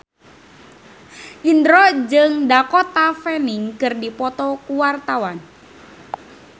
Indro jeung Dakota Fanning keur dipoto ku wartawan